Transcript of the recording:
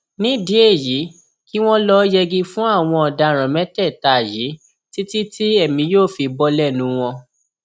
nídìí èyí kí wọn lọọ yẹgi fún àwọn ọdaràn mẹtẹẹta yìí títí tí èmi yóò fi bò lẹnu wọn